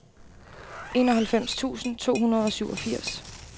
enoghalvfems tusind to hundrede og syvogfirs